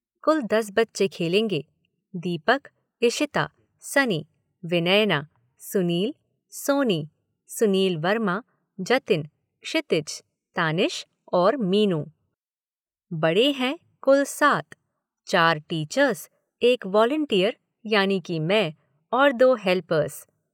कुल दस बच्चे खेलेंगे। दीपक, इशिता, सनी, विनयना, सुनील, सोनी, सुनील वर्मा, जतिन, क्षितिज, तानिश, और मीनू। बडे़ हैं कुल सात। चार टीचर्स, एक वाॅलिंटीयर यानि कि मैं और दो हेल्पर्स।